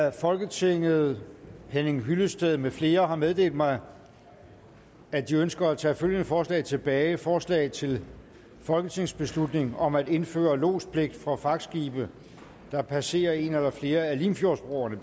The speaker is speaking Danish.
af folketinget henning hyllested med flere har meddelt mig at de ønsker at tage følgende forslag tilbage forslag til folketingsbeslutning om at indføre lodspligt for fragtskibe der passerer en eller flere af limfjordsbroerne